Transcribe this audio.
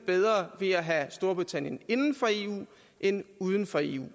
ved at have storbritannien inden for eu end uden for eu